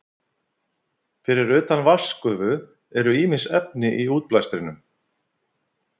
Fyrir utan vatnsgufu eru ýmis efni í útblæstrinum.